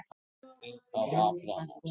Upp á Akranes.